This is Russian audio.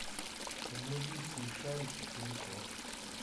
вруби смешарики пин код